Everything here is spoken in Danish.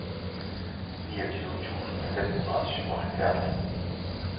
niogtyve tusind fem hundrede og syvoghalvfjerds